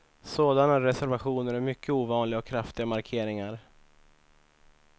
Sådana resevationer är mycket ovanliga och kraftiga markeringar.